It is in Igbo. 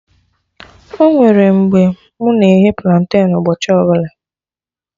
Onwere mgbe mụ na-eghe planten ụbọchị ọbụla